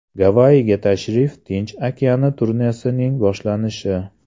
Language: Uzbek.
Gavayiga tashrif Tinch okeani turnesining boshlanishi.